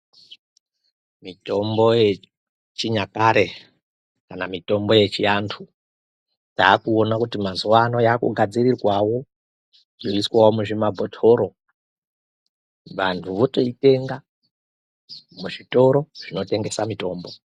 Mitombo yechinyakare kana mitombo yechiantu, ndakuona kuti mazuwaano yakugadzirirwawo yeiswawo muzvimabhotoro, vantu votoyitenga muzvitoro zvinotengesa mitombo.